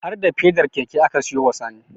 Har da fedar keke aka siyo wa Sani